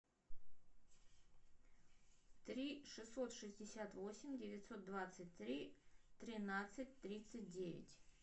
три шестьсот шестьдесят восемь девятьсот двадцать три тринадцать тридцать девять